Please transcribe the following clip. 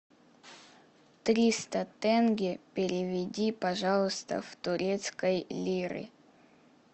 триста тенге переведи пожалуйста в турецкой лиры